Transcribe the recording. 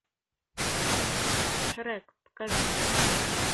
шрек покажи мне